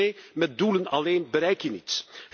Punt twee met doelen alleen bereik je niets.